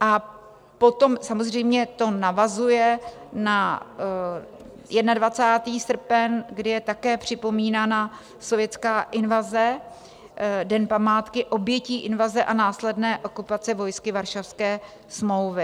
A potom samozřejmě to navazuje na 21. srpen, kdy je také připomínána sovětská invaze, Den památky obětí invaze a následné okupace vojsky Varšavské smlouvy.